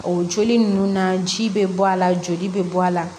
O joli ninnu na ji bɛ bɔ a la joli bɛ bɔ a la